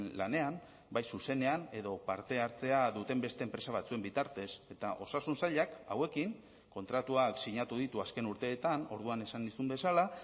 lanean bai zuzenean edo parte hartzea duten beste enpresa batzuen bitartez eta osasun sailak hauekin kontratuak sinatu ditu azken urteetan orduan esan nizun bezala